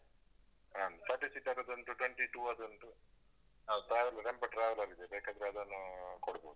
ಹ್ಮಾಂ, thirty seater ದು ಉಂಟು, twenty two ದುಂಟು. traveler tempo traveler ಆಗಿದೆ, ಬೇಕಾದ್ರೆ ಅದನ್ನು ಕೊಡ್ಬೋದು.